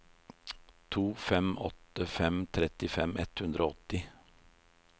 to fem åtte fem trettifem ett hundre og åtti